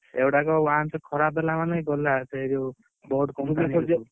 ଏଗୁଡାକ once ଖରାପ ହେଲା ମାନେ ଗଲା ସେ ଯଉ boat company କୁ।